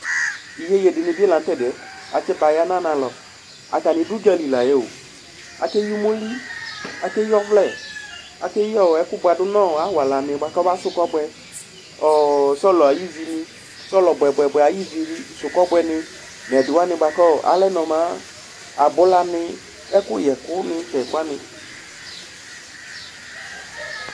Iyeye dini bɩ lanʋ tu ɛdɩyɛ atsibaya nʋ anʋ alɔ Atani du udzǝli layɛo Akeyi umoli, akeyi ɔvlɛ, akeyi ɛkʋbuadu nʋ awalani bʋakʋ ɔbasʋ kɔbʋɛ, ɔɔ sɔlɔ ayʋ ivi ni, sɔlɔ bʋɛbʋɛbʋɛ ayʋ ivisʋ kɔbʋɛni, abulani, ɛkʋyɛkʋ nʋ ɛdɩ wani